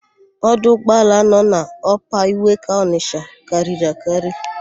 Ọdụ ụgbọala nọ n'Ọpa Iweka Ọnịsha karịrị akarị.